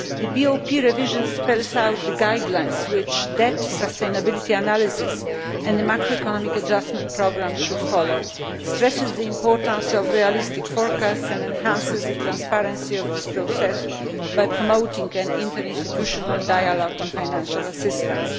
The BOP revision spells out the guidelines which debt sustainability analysis and the macroeconomic adjustment programme should follow, stresses the importance of realistic forecasts and enhances the transparency of this process by promoting an interinstitutional dialogue on financial assistance.